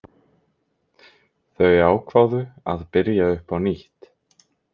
Þau ákváðu að byrja upp á nýtt.